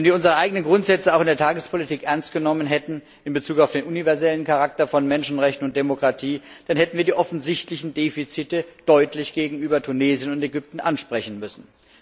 Wenn wir unsere eigenen Grundsätze auch in der Tagespolitik ernst genommen hätten in Bezug auf den universellen Charakter von Menschenrechten und Demokratie, dann hätten wir die offensichtlichen Defizite deutlich gegenüber Tunesien und Ägypten ansprechen müssen.